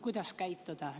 Kuidas käituda?